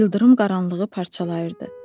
İldırım qaranlığı parçalayırdı.